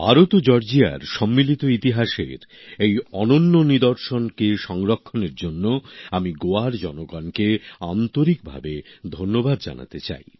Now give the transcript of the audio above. ভারত ও জর্জিয়ার সম্মিলিত ইতিহাসের এই অনন্য নির্দশনকে সংরক্ষণের জন্য আমি গোয়ার জনগণকে আন্তরিকভাবে ধন্যবাদ জানাতে চাই